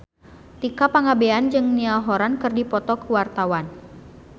Tika Pangabean jeung Niall Horran keur dipoto ku wartawan